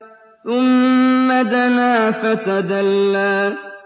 ثُمَّ دَنَا فَتَدَلَّىٰ